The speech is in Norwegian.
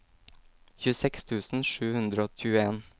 tjueseks tusen sju hundre og tjueen